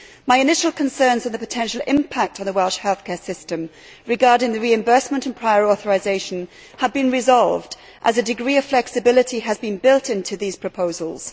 My initial concerns are at the potential impact on the Welsh healthcare system, regarding reimbursement and prior authorisation, have been resolved as a degree of flexibility has been built into these proposals.